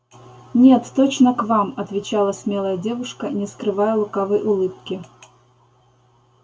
нет точно к вам отвечала смелая девушка не скрывая лукавой улыбки